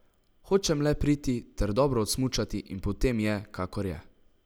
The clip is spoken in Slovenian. Hočem le priti ter dobro odsmučati in potem je, kakor je.